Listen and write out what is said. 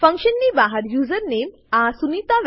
function ની બહાર user name આ સુનિતા